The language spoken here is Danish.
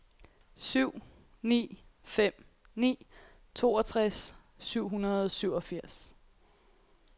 syv ni fem ni toogtres syv hundrede og syvogfirs